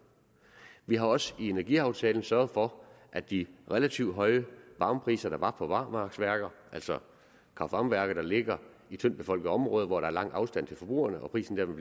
vi har også i energiaftalen sørget for at de relativt høje varmepriser der var på barmarksværker altså kraft varme værker der ligger i tyndtbefolkede områder hvor der lang afstand til forbrugerne og prisen